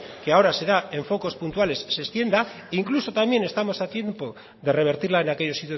que ahora se da en focos puntuales se extienda e incluso también estamos a tiempo de revertirla en aquellos